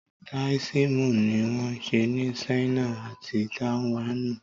Táóísímù ni won se ni Sáínà àti Tàìwánùn